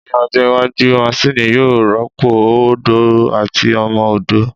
Ní ọjọ́ iwájú, maṣini yóò rọ́pò ó odó àti ọmọ odó